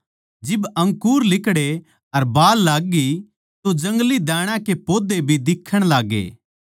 जिब अंकुर लिकड़े अर बाल लाग्गी तो जंगली दाण्या के पौधे भी दिखण लाग्गे